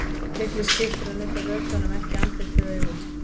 Miklu skiptir að nudda vökvanum ekki í andlit eða augu.